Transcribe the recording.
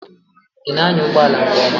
Ị na anya ụgbọ ala nke ọma?